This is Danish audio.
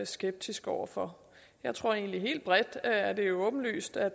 skeptiske over for jeg tror egentlig helt bredt set at det er åbenlyst at